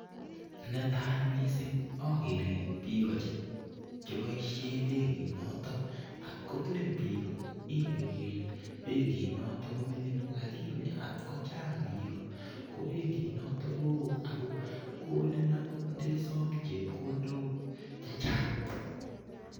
Netai mising ageere biiko che boishe benki noto, atko ng'ering biik ingen ile benkinoto ko mining lakini atko chang biik ko benkinoto koo ako konin akot ndesom chepkondok chechang.